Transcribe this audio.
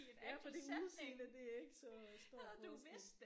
Ja præcis det der er ikke så stor forskel